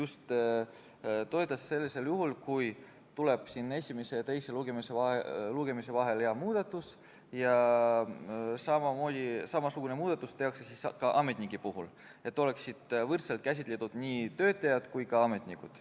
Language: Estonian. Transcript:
Ta toetas sellisel juhul, kui esimese ja teise lugemise vahel tuleb muudatusettepanek ja samasugune muudatus tehakse ka ametnike puhul, et oleksid võrdselt käsitletud nii töötajad kui ka ametnikud.